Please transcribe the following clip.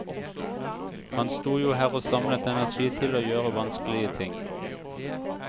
Han sto jo her og samlet energi til å gjøre vanskelige ting.